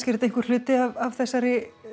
þetta einhver hluti af þessari